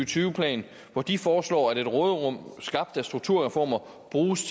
tyve plan hvor de foreslår at et råderum skabt af strukturreformer bruges